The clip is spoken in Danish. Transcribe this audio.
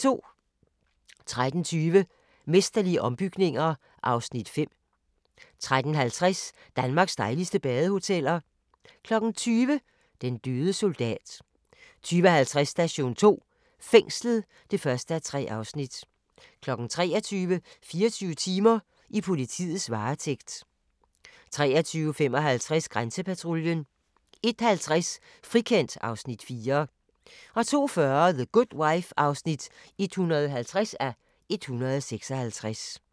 13:20: Mesterlige ombygninger (Afs. 5) 13:50: Danmarks dejligste badehoteller 20:00: Den døde soldat 20:50: Station 2: Fængslet (1:3) 23:00: 24 timer: I politiets varetægt 23:55: Grænsepatruljen 01:50: Frikendt (Afs. 4) 02:40: The Good Wife (150:156)